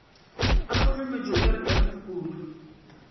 a gohlometše o ka rekeamphukudu